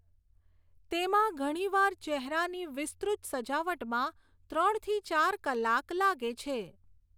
તેમાં ઘણીવાર ચહેરાની વિસ્તૃત સજાવટમાં ત્રણથી ચાર કલાક લાગે છે.